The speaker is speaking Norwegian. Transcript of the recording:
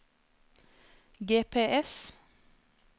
GPS